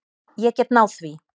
Ég get náð því.